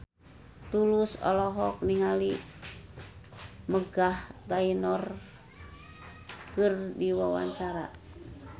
Tulus olohok ningali Meghan Trainor keur diwawancara